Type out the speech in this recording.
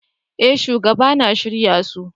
Eh shugaba na shirya su.